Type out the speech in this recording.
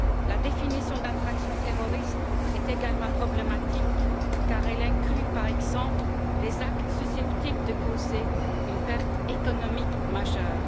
La définition d'infraction terroriste est également problématique car elle inclut, par exemple, les actes susceptibles de causer une perte économique majeure.